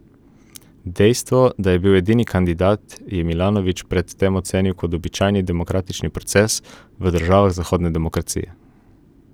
Dejstvo, da je bil edini kandidat, je Milanović pred tem ocenil kot običajni demokratični proces v državah zahodne demokracije.